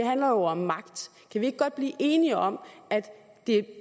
handler om magt kan vi ikke godt blive enige om at det